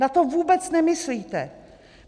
Na to vůbec nemyslíte!